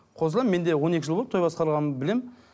қосыламын мен де он екі жыл болды той басқарғаным білемін